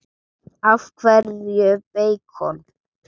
Af hverju beikon?